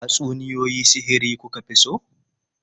Tatsuniyoyi sihiri ku ka fi so?